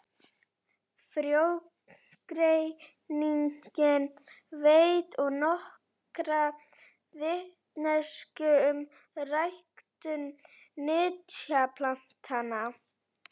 Frjógreiningin veitir og nokkra vitneskju um ræktun nytjaplantna.